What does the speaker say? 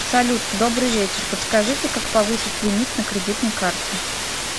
салют добрый вечер подскажите как повысить лимит на кредитной карте